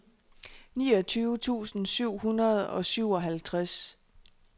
niogtyve tusind syv hundrede og syvoghalvtreds